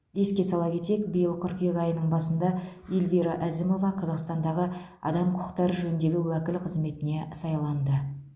еске сала кетейік биыл қыркүйек айының басында эльвира әзімова қазақстандағы адам құқықтары жөніндегі уәкіл қызметіне сайланды